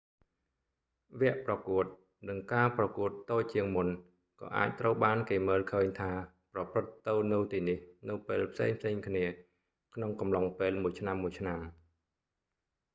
វគ្គប្រកួត និងការប្រកួតតូចជាងមុនក៏អាចត្រូវបានគេមើលឃើញថាប្រព្រឹត្តទៅនៅទីនេះនៅពេលផ្សេងៗគ្នាក្នុងកំឡុងពេលមួយឆ្នាំៗ